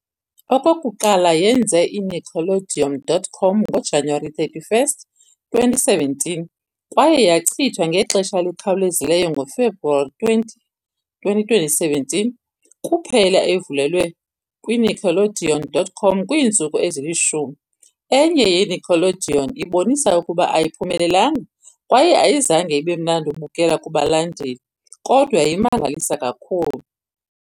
Okokuqala yenze i-Nickelodeon.com ngoJanuwari 31, 2017, kwaye yachithwa ngexesha elikhawulezayo ngoFebruwari 20, 2017, kuphela evulelwe kwiNickelodeon.com kwiintsuku ezili-10. Enye yeNickelodeon ibonisa ukuba ayiphumelelanga kwaye ayizange ibe imnandi ukubukela kubalandeli, kodwa imangalisa kakhulu.